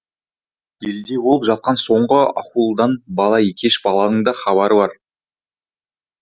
елде болып жатқан соңғы ахуалдан бала екеш баланың да хабары бар